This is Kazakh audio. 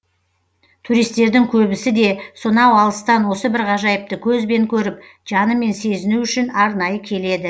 туристердің көбісі де сонау алыстан осы бір ғажайыпты көзбен көріп жанымен сезіну үшін арнайы келеді